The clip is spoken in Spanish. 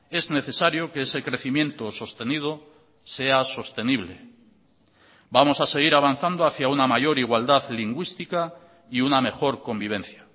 es necesario que ese crecimiento sostenido sea sostenible vamos a seguir avanzando hacia una mayor igualdad lingüística y una mejor convivencia